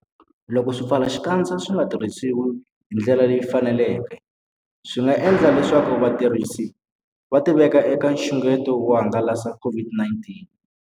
Loko swipfalaxikandza swi nga tirhisiwi hi ndlela leyi faneleke, swi nga endla leswaku vatirhisi va tiveka eka nxungeto wo hangalasa COVID-19.